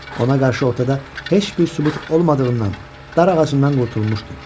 Ona qarşı ortada heç bir sübut olmadığından dar ağacından qurtulmuşdu.